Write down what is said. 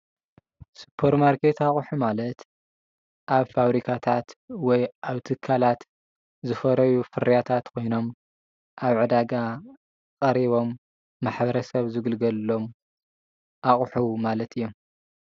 ሱፐርማርኬት ኣቁሑ ማለት ኣብ ፋብሪካታት ወይ ኣብ ትካላት ዝፈረዩ ፍርያታት ኮይኖም ኣብ ዕዳጋ ቐሪቦም ማሕበረ ሰብ ዝግልገሉሎም ኣቁሑ ማለት እዮም።